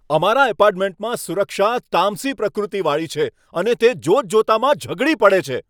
અમારા એપાર્ટમેન્ટમાં સુરક્ષા તામસી પ્રકૃતિવાળી છે અને તે જોતજોતામાં ઝઘડી પડે છે.